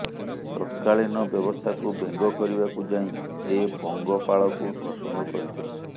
ତତ୍କାଳୀନ ବ୍ୟବସ୍ଥାକୁ ବ୍ୟଙ୍ଗ କରିବାକୁ ଯାଇ ସେ ପଙ୍ଗପାଳକୁ ପ୍ରସଙ୍ଗ କରିଥିଲେ